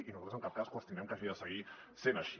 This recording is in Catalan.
i nosaltres en cap cas qüestionem que hagi de seguir sent així